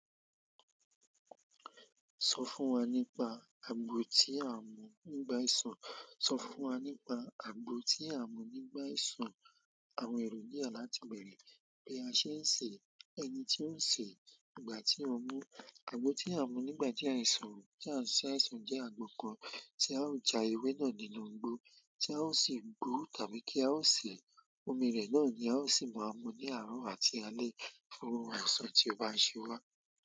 Sọ fún wa nípa àgbo tí a ń mú nígbà àìsàn. Sọ fún wa nípa àgbo tí a ń mú nígbà àìsàn. Àwọn ẹ̀rọ yíya láti bẹ̀rẹ̀ bí a ṣe ń sè é, ẹni tí ó ń sè é, ìgbà tí ó mú. Àgbo tí a ń mú nígbà tí a ń ṣe àìsàn jẹ́ àgbo kan tí a ó já ewé náà nínú igbó, tí a ó sì gbó tàbí kí a ó sè omi rẹ̀ náà ni a ó sì máa mú ní àárọ̀ àti alẹ́ fún àìsàn tí ó bá ṣe wá.